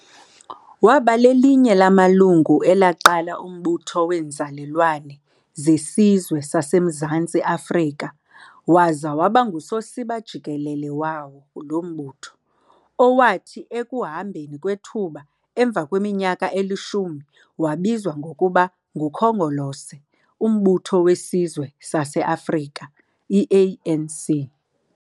Waba lelinye lamalungu elaqala umButho weeNzalelwane zeSizwe sasemZantsi Afrika waza waba ngusosiba jikelele wawo lo mbutho, owathi ekuhambeni kwethuba emva kweminyaka elishumi wabizwa ngokuba nguKhongolose UMbutho wesizwe saseAfrika, ANC.